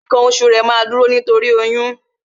Ǹkan oṣù rẹ, máa dúró torí ǹkan oṣù